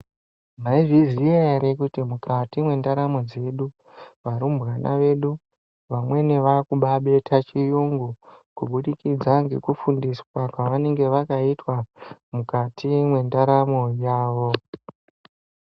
Mwaizviziya ere kuti mukati mwendaramu dzedu varumbwana vedu vamweni vakubabeta chiyungu kubudikidza ngekufundiswa kwavanenge vakaitwa mukati mwendaramu yavo .